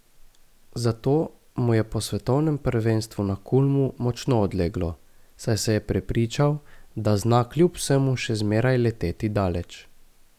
Zato mu je po svetovnem prvenstvu na Kulmu močno odleglo, saj se je prepričal, da zna kljub vsemu še zmeraj leteti daleč.